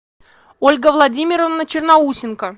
ольга владимировна черноусенко